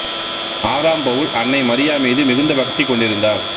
ஆறாம் பவுல் அன்னை மரியா மீது மிகுந்த பக்தி கொண்டிருந்தார்